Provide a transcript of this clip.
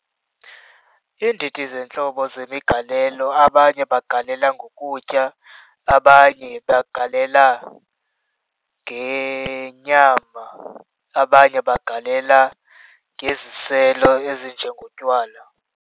Iindidi zentlobo zemigalelo abanye bagalela ngokutya, abanye bagalela ngenyama abanye bagalela ngeziselo ezinjengotywala.